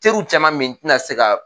Teriw caman me ye n tɛna se